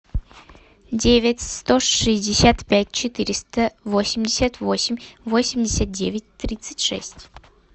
девять сто шестьдесят пять четыреста восемьдесят восемь восемьдесят девять тридцать шесть